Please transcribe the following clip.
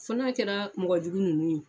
Fo na kɛra mɔgɔ jugu nunnu ye.